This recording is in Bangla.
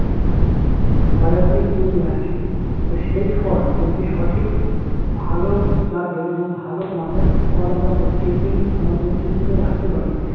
বাজার থেকে কিনে নিয়ে আসি তো সেই ফল যদি সঠিক ভালো জাতের এবং ভালো মানের ফল আমরা প্রত্যেকদিন আমাদের tiffin এ রাখতে পারি